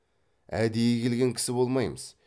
әдейі келген кісі болмаймыз